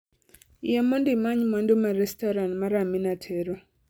Yie mondo imany mwandu ma restoran mar Amina tero